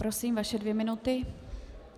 Prosím, vaše dvě minuty.